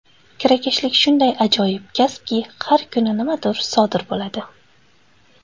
Kirakashlik shunday ajoyib kasbki, har kuni nimadir sodir bo‘ladi.